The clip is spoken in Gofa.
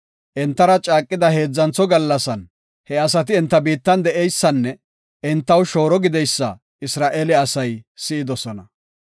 Entara caaqida heedzantho gallasan he asati enta biittan de7eysanne entaw shooro gideysa Isra7eele asay si7idosona.